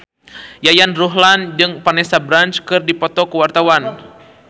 Yayan Ruhlan jeung Vanessa Branch keur dipoto ku wartawan